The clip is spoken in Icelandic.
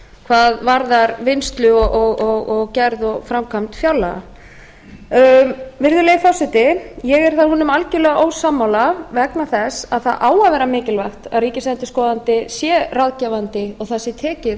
hvað varðar vinnslu og gerð og framkvæmd fjárlaga virðulegi forseti ég er þá honum algjörlega ósammála vegna þess að það á að vera mikilvægt að ríkisendurskoðandi sé ráðgefandi og það sé tekið